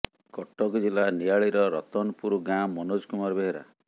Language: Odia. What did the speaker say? କଟକ ଜିଲ୍ଲା ନିଆଳିର ରତନପୁର ଗାଁ ମନୋଜ କୁମାର ବେହେରା